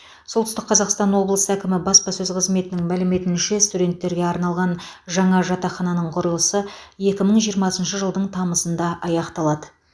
солтүстік қазақстан облысы әкімі баспасөз қызметінің мәліметінше студенттерге арналған жаңа жатақхананың құрылысы екі мың жиырмасыншы жылдың тамызында аяқталады